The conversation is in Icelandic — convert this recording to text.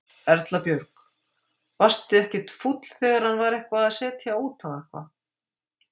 Erla Björg: Varstu ekkert fúll þegar hann var eitthvað að setja út á eitthvað?